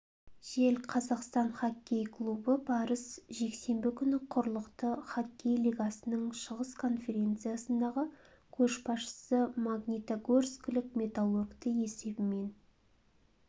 жел қазақстан хоккей клубы барыс жексенбі күні құрлықты хоккей лигасының шығыс конференциядағы көшбасшысы магнитогорскілік металлургті есебімен